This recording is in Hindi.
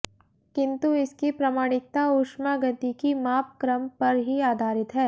किन्तु इसकी प्रामाणिकता उष्मागतिकी मापक्रम पर ही आधारित है